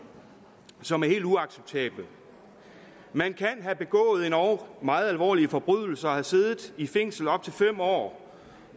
som er helt uacceptable man kan have begået endog meget alvorlige forbrydelser og have siddet i fængsel i op til fem år